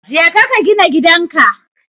Jeka ka gina gidan ka.